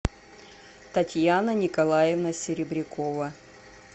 татьяна николаевна серебрякова